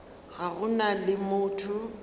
ga go na le motho